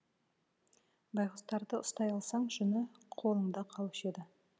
байғұстарды ұстай алсаң жүні қолыңда қалушы еді